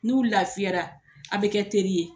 N'u lafiyara a' bɛ kɛ teri ye